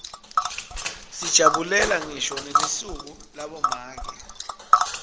sijabulela ngisho nelisuku labomake